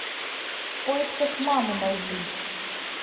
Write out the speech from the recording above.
в поисках мамы найди